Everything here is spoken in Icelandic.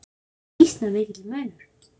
Þetta er býsna mikill munur.